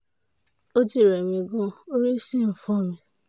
ó ti rẹ̀ mí gan-an orí sì ń fọ́ mi